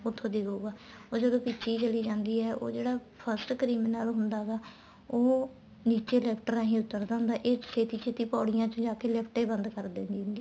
ਉੱਥੋ ਦਿੱਖੂਗਾ ਉਹ ਜਦੋਂ ਪਿੱਛੇ ਹੀ ਚੱਲੀ ਜਾਂਦੀ ਏ ਉਹ ਜਿਹੜਾ first criminal ਹੁੰਦਾ ਗਾ ਉਹ ਨੀਚੇ lift ਰਾਹੀ ਉੱਤਰ ਦਾ ਹੁੰਦਾ ਇਹ ਛੇਤੀਂ ਛੇਤੀਂ ਪੋੜੀਆਂ ਜਾਕੇ lift ਹੀ ਬੰਦ ਕਰ ਦਿੰਦੀ ਹੁੰਦੀ ਆ